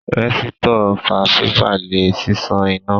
Rẹ̀sítọ̀ fa fífa lẹ̀ ṣíṣan iná